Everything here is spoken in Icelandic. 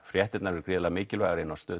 fréttirnar eru mikilvægar inni á Stöð